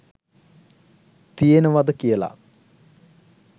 තියෙනවද කියලා.